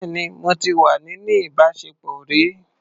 Bẹ́ẹ̀ni, mo ti wà níní ìbáṣepọ̀ rí.